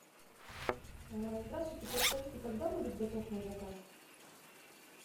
здравствуйте подскажите когда будет готов мой заказ